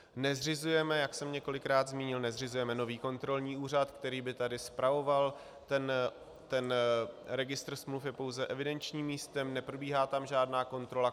Nezřizujeme, jak jsem několikrát zmínil, nezřizujeme nový kontrolní úřad, který by tady spravoval, ten registr smluv je pouze evidenčním místem, neprobíhá tam žádná kontrola.